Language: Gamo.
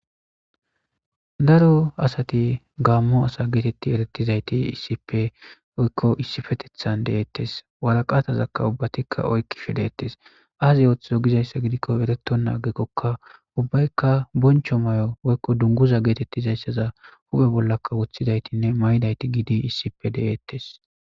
Daro asati Gamo asa giddida heezati issippe woyko issippeteththan deetees, woraqqataka ubbatika oyqqishe deetees. Asa ooso gidiza ooso giddikoka orattanne guuttaka ubbaykka boncho mayo woyko dunguza geettetida iza ogge bolla woththidaytinne maydayti giddi issippe de'etees.